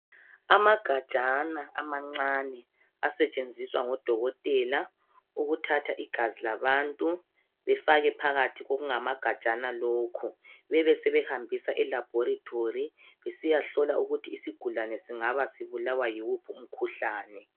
Amagajana amancane asetshenziswa ngodokotela ukuthatha igazi labantu befake phakathi kokungamagajana lokhu bebesebehambisa elabhorethori besiyahlola ukuthi isigulane singaba sibulawa yiwuphi umkhuhlane.